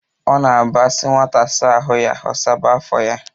Ọ na-abụ asi nwata saa ahu ya, ọ saba afọ ya